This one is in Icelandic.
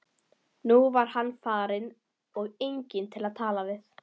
Nú var hann farinn og enginn til að tala við.